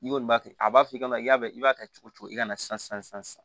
I kɔni b'a kɛ a b'a f'i ɲɛna i y'a dɔn i b'a kɛ cogo o cogo i ka na san sisan